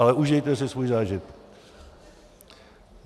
Ale užijte si svůj zážitek.